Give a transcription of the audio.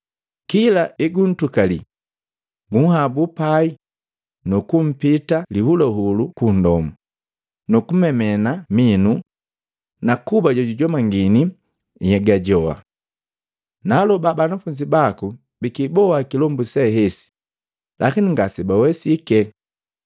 Kila eguntukalii, gunhabuu pai nukumpita lihuluhulu kundomo, nukumemena minu na kuba jojujomangini nhyega joa. Naaloba banafunzi baku bikiboa kilombu se hesi, lakini ngasebawesike.”